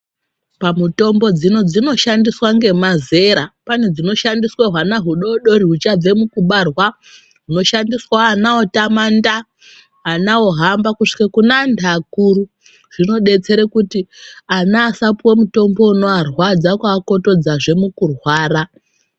Pamutombo dzino dzinoshandiswa nemazera. Pane dzinoshandiswa nehwana hudodori huchabve mukubarwa, oshandiswa ana otamanda, ana ohamba kusvike kune antu akuru. Zvinodetsera kuti ana asapuwe mutombo unoarwadza kuakotodzazve mukurwara.